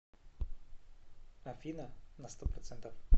афина на сто процентов